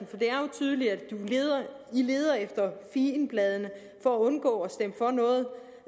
tydeligt at man leder efter figenbladene for at undgå